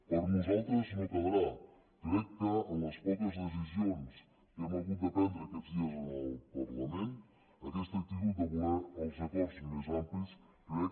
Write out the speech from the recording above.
per nosaltres no quedarà crec que en les poques decisions que hem hagut de prendre aquests dies en el parlament aquesta actitud de voler els acords més amplis crec